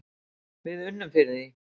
Við unnum fyrir því.